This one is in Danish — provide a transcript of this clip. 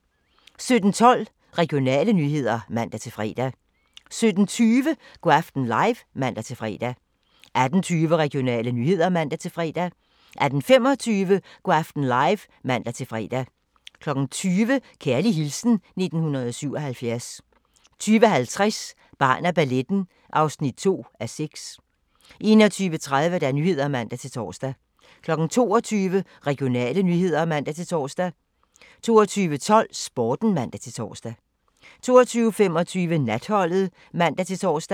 17:12: Regionale nyheder (man-fre) 17:20: Go' aften live (man-fre) 18:20: Regionale nyheder (man-fre) 18:25: Go' aften live (man-fre) 20:00: Kærlig hilsen 1977 20:50: Barn af balletten (2:6) 21:30: Nyhederne (man-tor) 22:00: Regionale nyheder (man-tor) 22:12: Sporten (man-tor) 22:25: Natholdet (man-tor)